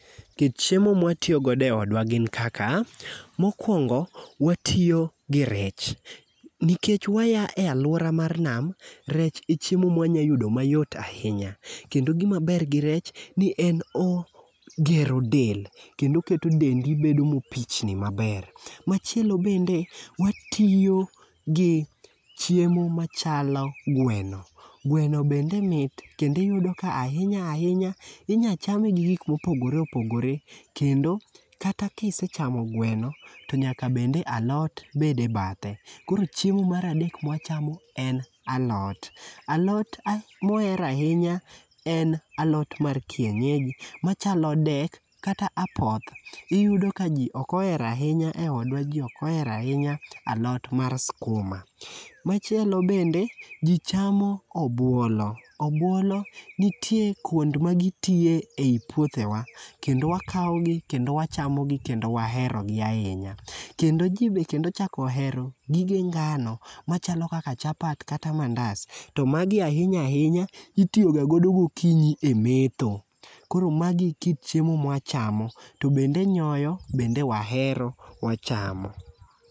Kit chiemo ma watiyogo e odwa gin kaka, mokwongo, watiyo gi rech. Nikech waya e alwora mar nam, rech e chiemo ma wanyalo yudo mayot ahinya. Kendo gima ber gi rech, ni en ogero del. Kendo oketo dendi bedo mopichni maber. Machielo bende, watiyo gi chiemo machalo gweno. Gweno bende mit, kendo iyudo ka ahinya ahinya, inya chame gi gik mopogore opogore. Kendo kata kisechamo gweno, to nyaka bed ni alot ni e bathe. Koro chiemo mar adek ma wachamo en alot. Alot moher ahinya en alot mar kienyeji machalo dek kata apoth. Iyudo ka ji ok ohero ahinya, e odwa ji ok ohero ahinya alot mar skuma. Machielo bende ji chamo obwolo. Obwolo nitie kwond ma gitie ei puothewa, kendo wakaogi, kendo wachamogi, kendo waherogi ahinya. Kendo ji bende kendo ochak ohero, gige ngano, machalo kaka chapat, kata mandas. To magi ahinya ahinya, itiyogagodo gokinyi e metho. Koro magi e kit chiemo ma wachamo. To bende nyoyo, bende wahero, wachamo.